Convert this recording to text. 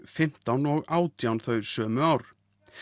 fimmtán og átján þau sömu ár